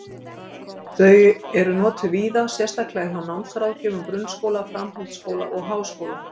Þau eru notað víða, sérstaklega hjá námsráðgjöfum grunnskóla, framhaldsskóla og háskóla.